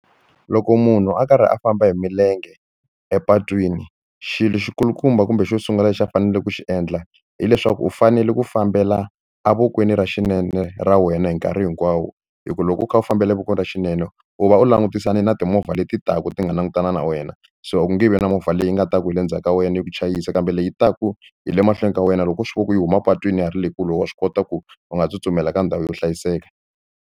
Loko munhu a karhi a famba hi milenge epatwini xilo xi kulukumba kumbe xo sungula lexi a faneleke ku xi endla hileswaku u fanele ku fambela evokweni ra xinene ra wena hi nkarhi hinkwawo hi ku loko u kha u fambile voko ra xinene u va u langutisane na timovha leti taka ti nga langutana na wena so a ku nge vi na movha leyi nga ta ku hi le ndzhaku ka wena yi ku chayisa kambe leyi taka hi le mahlweni ka wena loko u swi vona ku yi huma patwini ya ha ri le kule wa swi kota ku u nga tsutsumela ka ndhawu yo hlayiseka.